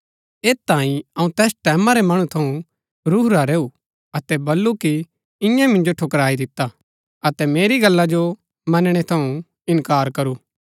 ऐत तांई अऊँ तैस टैमां रै मणु थऊँ रूहुरा रैऊ अतै बल्लू कि इन्यै मिन्जो ठुकराई दिता अतै मेरी गल्ला जो मनणै थऊँ इनकार करू